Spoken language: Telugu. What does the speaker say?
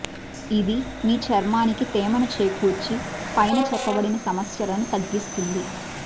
ఇది మీ చర్మానికి తేమను చేకూర్చి పైన చెప్పబడిన సమస్యలను తగ్గిస్తుంది